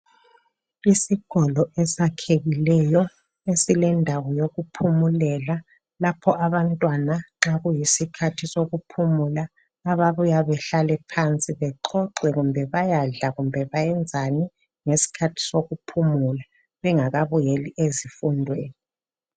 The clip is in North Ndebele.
Isikolo esakhekileyo esilendawo yokuphumulela lapho abantwana nxa kuyisikhathi sokuphumula ababuya behlale phansi bexoxe kumbe bayadla kumbe bayenzani ngesikhathi sokuphumula bengakabuyeli ezifundweni.